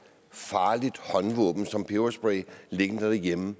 farligt håndvåben som peberspray liggende derhjemme